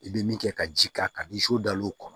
I bɛ min kɛ ka ji k'a kan ni so dal'o kɔnɔ